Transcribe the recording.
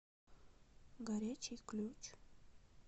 горячий ключ